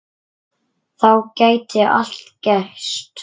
Þá gæti allt gerst.